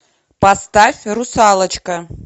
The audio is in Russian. поставь русалочка